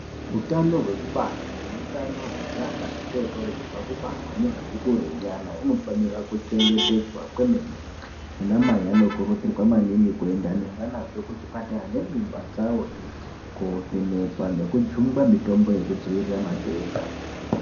Hutano hwekubara nehutano hwezvana zvitotori zvobva kubarwa nezvati kurei nyana unofanira kuchengetedzwa kwemene. Anamai anokurudzirwa maningi kuenda nezvanazvo kuchipatara nemimba dzavohe kovhenekwa nekujungwa mitombo yekudzivirira matenda.